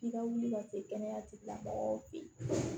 F'i ka wuli ka se kɛnɛya tigi la mɔgɔw fe yen